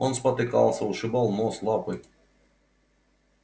он спотыкался ушибал нос лапы